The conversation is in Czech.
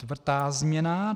Čtvrtá změna.